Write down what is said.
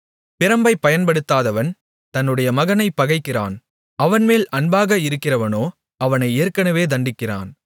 பிரம்பைப் பயன்படுத்தாதவன் தன்னுடைய மகனைப் பகைக்கிறான் அவன்மேல் அன்பாக இருக்கிறவனோ அவனை ஏற்கனவே தண்டிக்கிறான்